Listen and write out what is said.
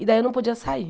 E daí eu não podia sair.